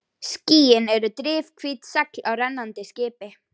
Skýin eru drifhvít segl á rennandi skipi.